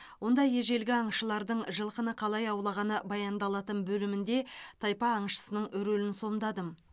онда ежелгі аңшылардың жылқыны қалай аулағаны баяндалатын бөлімінде тайпа аңшысының рөлін сомдадым